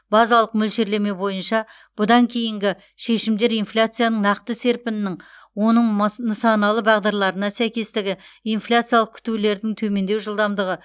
базалық мөлшерлеме бойынша бұдан кейінгі шешімдер инфляцияның нақты серпінінің оның мыс нысаналы бағдарларына сәйкестігі инфляциялық күтулердің төмендеу жылдамдығы